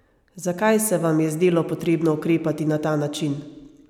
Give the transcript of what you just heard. Zakaj se vam je zdelo potrebno ukrepati na ta način?